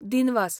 दिनवास!